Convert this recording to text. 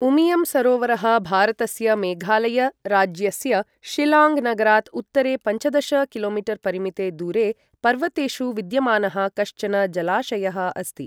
उमियम् सरोवरः भारतस्य मेघालय राज्यस्य शिलाङ्ग् नगरात् उत्तरे पञ्चदश कि.मी.परिमिते दूरे पर्वतेषु विद्यमानः कश्चन जलाशयः अस्ति।